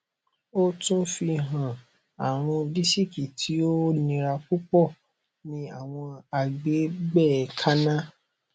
o tun fihan arun disiki ti o nira pupọ ni awọn agbegbe kanna